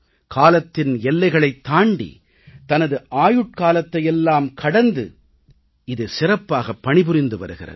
காலத்தின் எல்லைகளைத் தாண்டி தனது ஆயுட்காலத்தையெல்லாம் கடந்து இது சிறப்பாகப் பணிபுரிந்து வருகிறது